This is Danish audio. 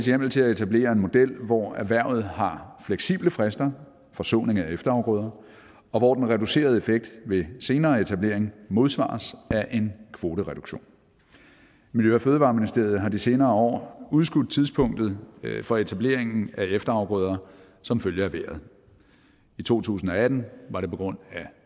hjemmel til at etablere en model hvor erhvervet har fleksible frister for såning af efterafgrøder og hvor den reducerede effekt ved senere etablering modsvares af en kvotereduktion miljø og fødevareministeriet har de senere år udskudt tidspunktet for etableringen af efterafgrøder som følge af vejret i to tusind og atten var det på grund af